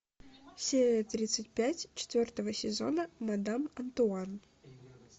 серия тридцать пять четвертого сезона мадам антуан